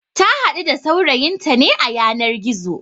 Ta haɗu da saurayinta ne a yanar gizo